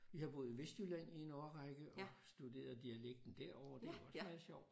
Jeg har boet i Vestjylland i en årrække og studeret dialekten derovre og det er jo også meget sjovt